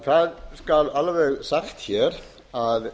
það skal alveg sagt hér að